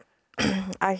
að